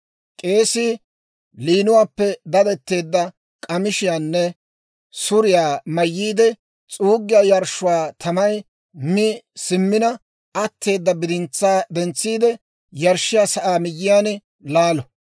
K'eesii liinuwaappe dadetteedda k'amishiyaanne suriyaa mayyiide, s'uuggiyaa yarshshuwaa tamay mi simmina atteeda bidintsaa dentsiide, yarshshiyaa saa miyyiyaan laalo.